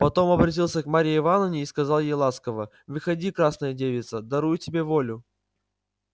потом обратился к марье ивановне и сказал ей ласково выходи красная девица дарую тебе волю